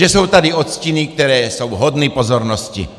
Že jsou tady odstíny, které jsou hodny pozornosti.